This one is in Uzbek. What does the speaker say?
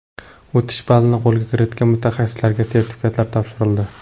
O‘tish ballarini qo‘lga kiritgan mutaxassislarga sertifikatlar topshirildi.